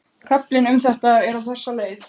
Kaflinn um þetta er á þessa leið